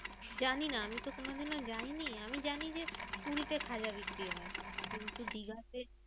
জানিনা আমিতো কোনোদিনও যাইনি। আমি জানি যে পুরী তে খাজা বিক্রি হয়। কিন্তু দীঘাতে